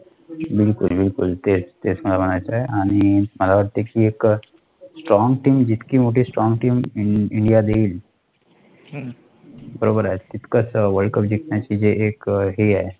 बिलकुल बिलकुल तेच मला म्हणायचं, Strong team जितकी मोठी Strong team india देईल, तितकंच वर्ल्डकप जिंकण्याचं जे एक हे आहे